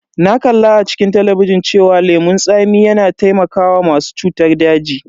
Na kalla a cikin talabijin cewa lemon tsami yana taimakawa masu cutar daji.